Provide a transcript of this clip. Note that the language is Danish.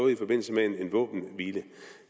i forbindelse med en våbenhvile